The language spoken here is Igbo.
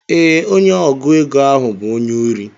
Ee, onye ọgụ égo ahụ bu onye ori.